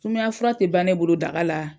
Sumaya fura te ban ne bolo daga la